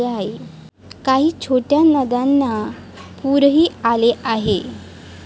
काही छोट्या नद्यांना पुरही आले आहे.